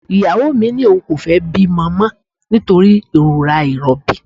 Ìyàwó mi ní òun kò fẹ́ bímọ mọ nítorí ìrora ìrọbí